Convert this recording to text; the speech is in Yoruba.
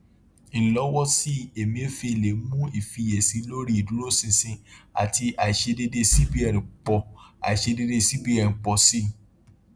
ilọwọsí emefiele mú ìfiyèsí lórí ìdúróṣinṣin àti àìṣedédé cbn pọ àìṣedédé cbn pọ sí i